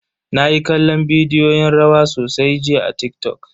Nayi kallon bidiyoyin rawa sosai jiya a TikTok.